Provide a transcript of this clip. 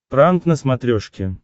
пранк на смотрешке